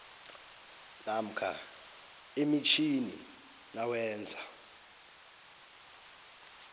namkha emitjhini nawenza